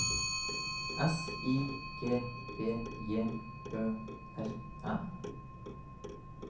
S I G B J Ø R N